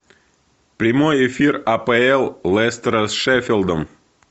прямой эфир апл лестера с шеффилдом